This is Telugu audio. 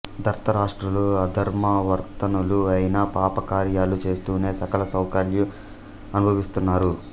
దార్తరాష్ట్రులు అధర్మ వర్తనులు అయినా పాపకార్యాలు చేస్తూనే సకల సౌఖ్యాలు అనుభవిస్తున్నారు